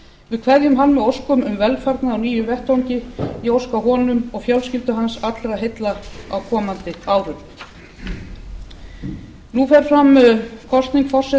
við kveðjum hann með óskum um velfarnað á nýjum vettvangi ég óska honum og fjölskyldu hans allra heilla á komandi árum